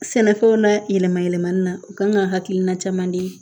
Sɛnɛfɛnw na yɛlɛma yɛlɛmali la u kan ka hakilina caman di